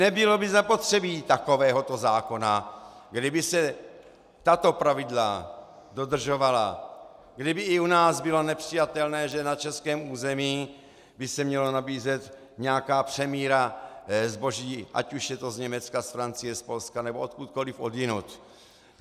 Nebylo by zapotřebí takovéhoto zákona, kdyby se tato pravidla dodržovala, kdyby i u nás bylo nepřijatelné, že na českém území by se měla nabízet nějaká přemíra zboží, ať už je to z Německa, z Francie, z Polska nebo odkudkoliv odjinud.